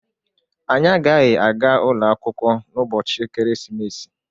Anyị agaghị aga ụlọ akwụkwọ n'ụbọchị ekeresimesi.